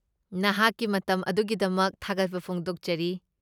ꯅꯍꯥꯛꯀꯤ ꯃꯇꯝ ꯑꯗꯨꯒꯤꯗꯃꯛ ꯊꯥꯒꯠꯄ ꯐꯣꯡꯗꯣꯛꯆꯔꯤ꯫